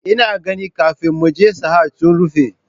Ina ganin kafin muje Sahad sun rufe